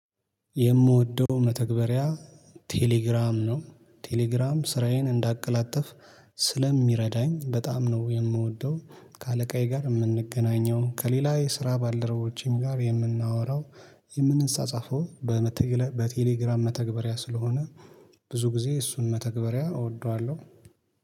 የምወደው መተግበሪያ ቴሌግራም ነው ቴሌግራም ስራዬን እንዳቀላጥፍ ስለሚረዳኝ በጣም ነው። የምወደው ከአለቃዬ ጋር የምንገናኘው ከሌላ የስራ ባልረቦችን ጋር የምናወራው የምንፃጻፈው በቴሌግራም መተግበሪያ ስለሆነ። ብዙ ጊዜ እሱን መተግበሪያ እወደዋለሁ።